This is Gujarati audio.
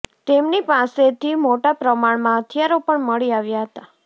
તેમની પાસેથી મોટા પ્રમાણમાં હથિયારો પણ મળી આવ્યાં હતાં